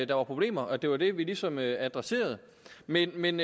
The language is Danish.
der var problemer og at det var det vi ligesom adresserede men men